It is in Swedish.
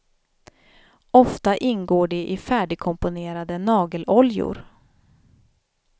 Ofta ingår de i färdigkomponerade nageloljor.